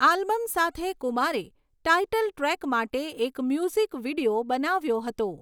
Album સાથે કુમારે title track માટે એક મ્યુઝિક વીડિયો બનાવ્યો હતો.